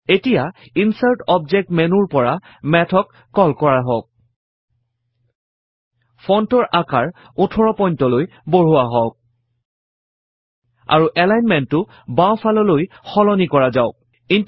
এতিয়া insert object মেন্যুৰ পৰা Math ক কল কৰা হওক ফন্টৰ আকাৰ 18 point লৈ বঢ়োৱা হওক আৰু এলাইনমেন্টটো বাওঁফাললৈ সলনি কৰা যাওক